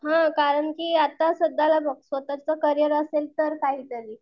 हां कारण की आता सध्याला बघ स्वतःच करियर असेल तर काहीतरी.